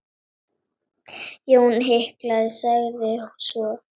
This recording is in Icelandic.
Jón hikaði, sagði svo